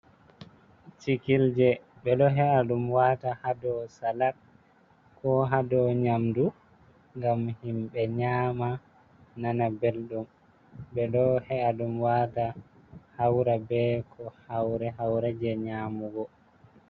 Cikilje: Ɓeɗo he'a ɗum wata ha dow salat ko ha dow nyamdu ngam himɓe nyama nana belɗum. Ɓeɗo he'a ɗum wata haura be ko haure-haure je nyamugo.